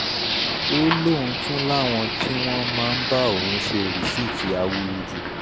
ó lóun tún làwọn tí wọ́n máa ń bá òun ṣe rìsíìtì awúrúju